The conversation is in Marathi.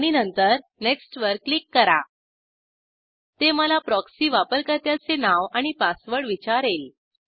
आणि नंतर नेक्स्टवर क्लिक करा ते मला प्रॉक्सी वापरकर्त्याचे नाव आणि पासवर्ड विचारेल